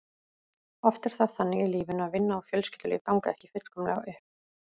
Oft er það þannig í lífinu að vinna og fjölskyldulíf ganga ekki fullkomlega upp.